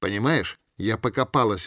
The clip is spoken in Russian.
понимаешь я покопалась